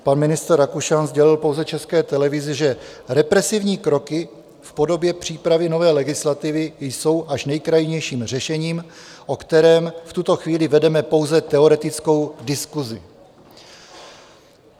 Pan ministr Rakušan sdělil pouze České televizi, že represivní kroky v podobě přípravy nové legislativy jsou až nejkrajnějším řešením, o kterém v tuto chvíli vedeme pouze teoretickou diskusi.